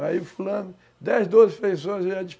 Aí o fulano, dez, doze